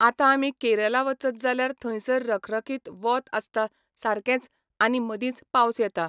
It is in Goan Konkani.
आतां आमी केरला वचत जाल्यार थंयसर रखरखीत वोत आसता सारकेंच आनी मदींच पावस येता.